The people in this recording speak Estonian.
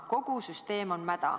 Kogu süsteem on mäda.